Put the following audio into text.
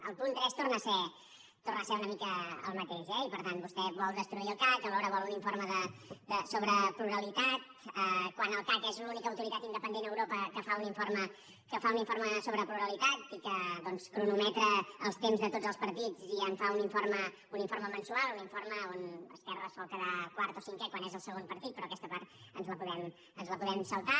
el punt tres torna a ser una mica el mateix eh i per tant vostè vol destruir el cac alhora vol un informe sobre pluralitat quan el cac és l’única autoritat independent a europa que fa un informe sobre pluralitat i que doncs cronometra els temps de tots els partits i en fa un informe mensual un informe on esquerra sol quedar quart o cinquè quan és el segon partit però aquesta part ens la podem saltar